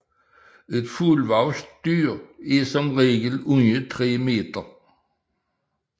Et fuldvoksent dyr er som regel under 3 meter